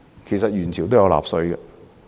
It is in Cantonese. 其實元朝都有納稅。